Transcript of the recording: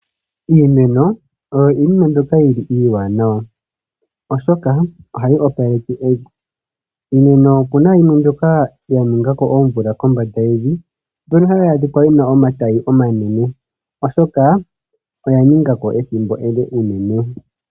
Iimeno oyo iinima mbyoka yili iiwanawa, oshokaohayi opaleke evi. Iimeno opuna yimwe mbyokaya ningako oomvula kombanda yevi, mbyoka hayi adhika yina omatayi omanene, oshoka oya ningako ethimbo ele uunene.